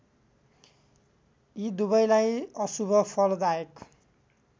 यी दुबैलाई अशुभ फलदायक